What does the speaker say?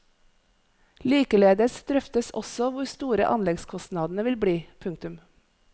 Likeledes drøftes også hvor store anleggskostnadene vil bli. punktum